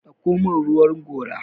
dauko min ruwan gora!